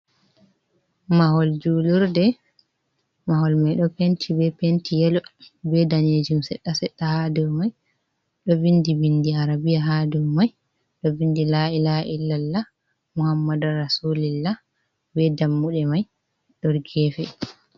Mahol julurde, mahol mai ɗo penti be penti yelo be danejum sedda sedda, ha dow mai do bindi bindi arabia ha dow mai ɗon bindi lai la’il lallah mohammadara solillah be dammuɗe mai ɗo gefe.